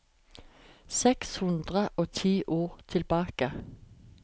Seks hundre og ti ord tilbake